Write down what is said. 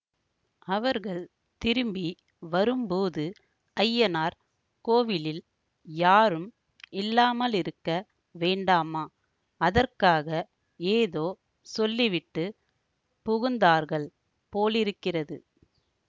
அவர்கள் திரும்பி வரும்போது அய்யனார் கோவிலில் யாரும் இல்லாமலிருக்க வேண்டாமா அதற்காக ஏதோ சொல்லிவிட்டு புகுந்தார்கள் போலிருக்கிறது